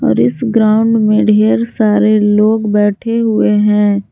और इस ग्राउंड में ढेर सारे लोग बैठे हुए हैं।